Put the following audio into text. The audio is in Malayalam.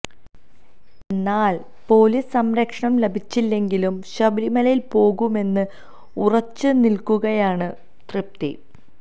എന്നാല് പൊലീസ് സംരക്ഷണം ലഭിച്ചില്ലെങ്കിലും ശബരിമലയില് പോകുമെന്ന് ഉറച്ചു നില്ക്കുകയാണ് തൃപ്തി